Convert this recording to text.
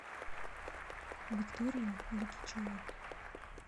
викторию лукичеву